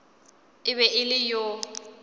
e be e le yo